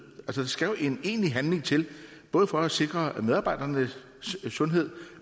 der skal jo en egentlig handling til både for at sikre medarbejdernes sundhed